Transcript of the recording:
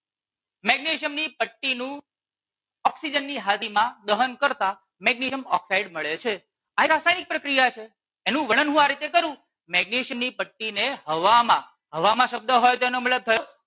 Magnesium ની પટ્ટી નું ઓક્સિજન ની હાજરી માં દહન કરતાં મેગ્નેશિયમ ઑક્સાઇડ મળે છે. આ એક રાસાયણિક પ્રક્રિયા છે એનું વર્ણન હું આ રીતે કરું મેગ્નેશિયમ ની પટ્ટી ને હવામાં હવામાં શબ્દ હોય તો એનો મતલબ થયો